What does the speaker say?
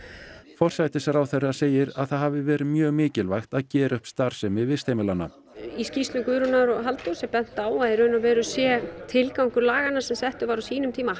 forsætisráðherra segir að það hafi verið mjög mikilvægt að gera upp starfsemi vistheimilanna í skýrslur Guðrúnar og Halldórs er bent á að í raun og veru sé tilgangur langanna sem settur var á sínum tíma